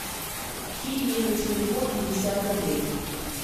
кинь мне на телефон пятьдесят рублей